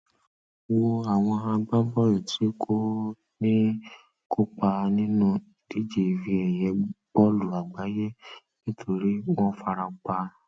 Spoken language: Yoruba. wo àwọn agbábọọlù tí kò ní kópa nínú ìdíje ife ẹyẹ bọọlù àgbáyé nítorí wọn farapa